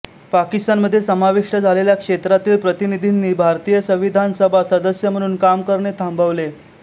पाकिस्तानमध्ये समाविष्ट झालेल्या क्षेत्रातील प्रतिनिधींनी भारतीय संविधान सभा सदस्य म्हणून काम करणे थांबवले